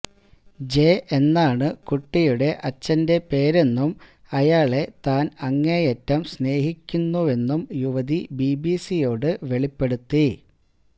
ജേ എന്നാണ് കുട്ടിയുടെ അച്ഛന്റെ പേരെന്നും അയാളെ താന് അങ്ങേയറ്റം സ്നേഹിക്കുന്നുവെന്നും യുവതി ബിബിസിയോട് വെളിപ്പെടുത്തി